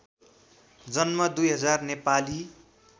जन्म २००० नेपाली